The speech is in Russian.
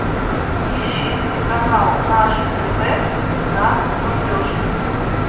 ищи телеканал наше тв на смотрешке